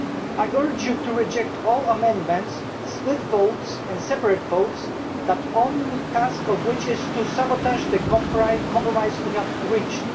I urge you to reject all amendments, split votes and separate votes, the only task of which is to sabotage the compromise we have reached.